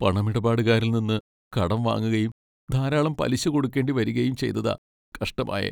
പണമിടപാടുകാരനിൽ നിന്ന് കടം വാങ്ങുകയും ധാരാളം പലിശ കൊടുക്കേണ്ടി വരികയും ചെയ്തതാ കഷ്ടമായെ.